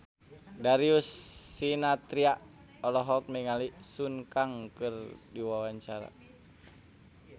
Darius Sinathrya olohok ningali Sun Kang keur diwawancara